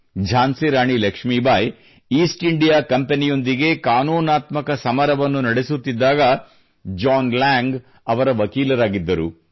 Jhansi Rani Lakshmibai East India ಕಂಪನಿಯೊಂದಿಗೆ ಕಾನೂನಾತ್ಮಕ ಸಮರವನ್ನು ನಡೆಸುತ್ತಿದ್ದಾಗ ಜಾನ್ ಲ್ಯಾಂಗ್ ಅವರ ವಕೀಲರಾಗಿದ್ದರು